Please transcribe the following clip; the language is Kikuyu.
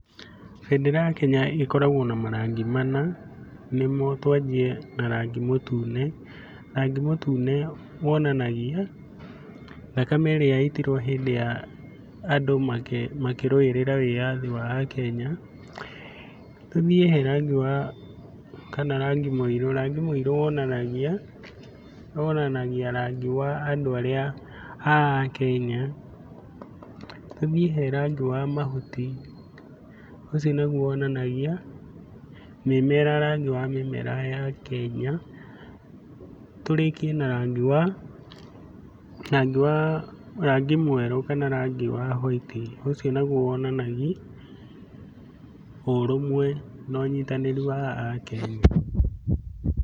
Bendera ya Kenya ĩkoragwo na marangi mana, nĩmo twanjie na rangi mũtune. Rangi mũtune wonanagia thakame ĩrĩa yaitirwo hĩndĩ ya andũ makĩrũĩrĩra wĩyathi wa Akenya. Tũthiĩ he rangi wa, kana rangi mũirũ, rangi mũirũ wonanagia, wonanagia rangi wa andũ arĩa a Akenya. Tũthiĩ he rangi wa mahuti, ũcio naguo wonanagia mĩmera rangi wa mĩmera ya Kenya. Tũrĩkie na rangi wa, rangi wa rangi mwerũ kana rangi wa hwaiti, ũcio naguo wonanagia ũrũmwe na ũnyitanĩri wa Akenya.